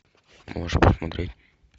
можешь посмотреть